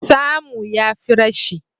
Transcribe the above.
Samu ya fi rashi